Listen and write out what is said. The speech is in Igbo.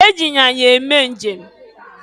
E ji anyinya eme njem.